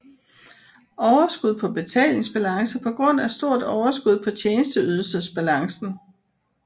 Overskud på betalingsbalance på grund af stort overskud på tjenesteydelsesbalancen